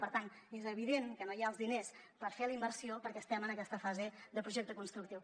per tant és evident que no hi ha els diners per fer la inversió perquè estem en aquesta fase de projecte constructiu